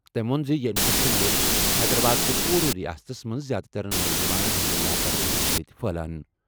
تٔمۍ ووٚن زِ یہِ انفیکشن اوس حیدرآباد تہٕ پوٗرٕ رِیاستَس منٛز زِیٛادٕ تر نوجوانَن ہٕنٛز لاپرواہی سۭتۍ پھٔہلان۔